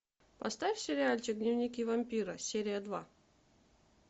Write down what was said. поставь сериальчик дневники вампира серия два